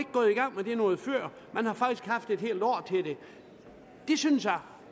gået i gang med det noget før man har faktisk haft et helt år til det det synes jeg